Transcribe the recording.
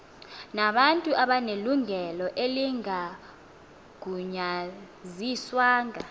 nabantu abanelungelo elingagunyaziswanga